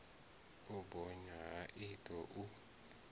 u bonya ha iṱo u